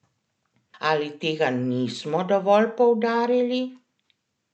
Ali tega nismo dovolj poudarili?